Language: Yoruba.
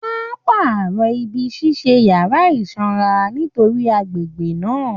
Wọ́n á pàrọ̀ ibi ṣíṣe yàrá ìsanra nítorí agbègbè náà